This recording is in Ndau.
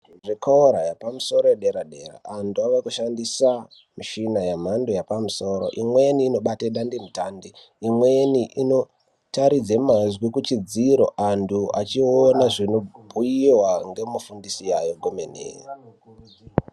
Zvikora zvepamusoro dere dera ,antu ave kushandisa mishina yemhando yepamusoro. Imweni inobate dandemutande, imweni inotaridze mazwi kuchidziro antu achiona zvinobhuyiwa ngemufundisi ayo omene.